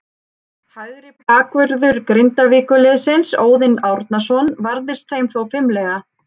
Hægri bakvörður Grindavíkurliðsins, Óðinn Árnason, varðist þeim þó fimlega.